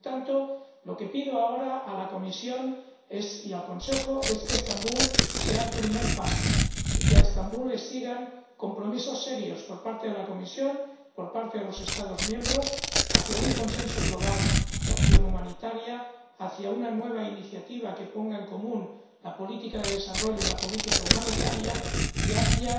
Por tanto, lo que pido ahora a la Comisión y al Consejo es que Estambul sea el primer paso, y que a Estambul le sigan compromisos serios por parte de la Comisión, por parte de los Estados miembros, hacia un consenso global de acción humanitaria, hacia una nueva iniciativa que ponga en común la política de desarrollo y la política humanitaria, y hacia